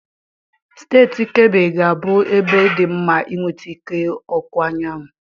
Steeti Keebi ga-abụ ebe dị mma inweta ike ọkụ anyanwụ.